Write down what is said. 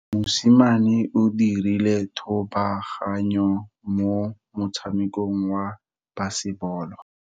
Mosimane o dirile thubaganyo mo motshamekong wa basebolo.